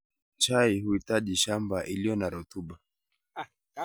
Chai huhitaji shamba iliyo na rotuba